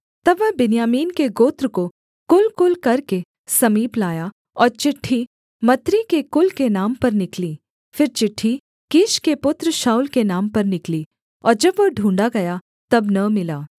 तब वह बिन्यामीन के गोत्र को कुलकुल करके समीप लाया और चिट्ठी मत्री के कुल के नाम पर निकली फिर चिट्ठी कीश के पुत्र शाऊल के नाम पर निकली और जब वह ढूँढ़ा गया तब न मिला